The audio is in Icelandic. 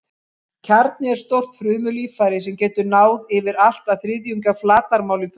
Kjarni er stórt frumulíffæri sem getur náð yfir allt að þriðjung af flatarmáli frumu.